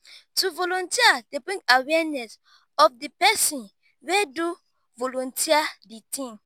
to volunteer de bring awearness of the person wey do volunteer di thing